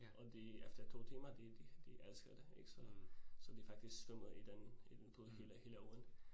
Og de efter 2 timer de de de elskede det ik, så så de faktisk svømmede i den i den pool hele ugen